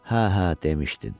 Hə, hə, demişdin.